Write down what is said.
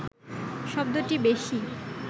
শব্দটি বেশি